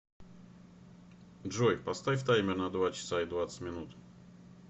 джой поставь таймер на два часа и двадцать минут